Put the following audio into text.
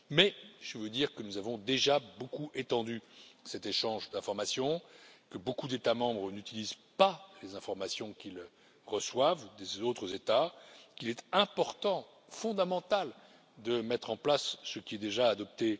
Mais je veux vous dire que nous avons déjà beaucoup étendu cet échange d'informations, que beaucoup d'États membres n'utilisent pas les informations qu'ils reçoivent des autres États et qu'il est important, voire fondamental de mettre en place ce qui est déjà adopté.